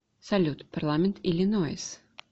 салют парламент иллинойс